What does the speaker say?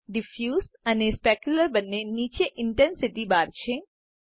diffuse અને specularબને નીચે Intensityબાર છે